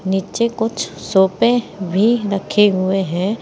नीचे कुछ सोफे भी रखे हुए हैं।